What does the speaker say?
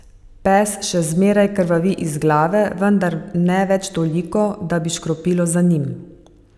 Pes še zmeraj krvavi iz glave, vendar ne več toliko, da bi škropilo za njim.